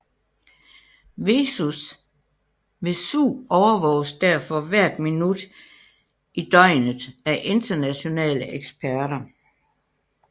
Vesuv overvåges derfor hvert minut i døgnet af internationale eksperter